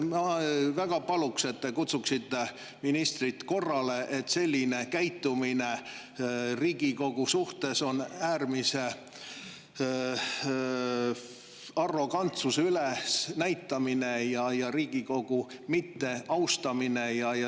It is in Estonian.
Ma väga palun, et te kutsuksite ministrit korrale, sest selline käitumine Riigikogu suhtes on äärmise arrogantsuse üles näitamine ja Riigikogu mitteaustamine.